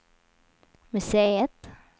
museet